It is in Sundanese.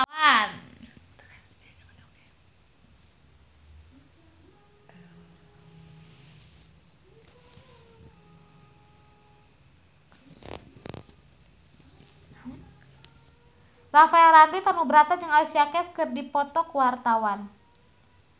Rafael Landry Tanubrata jeung Alicia Keys keur dipoto ku wartawan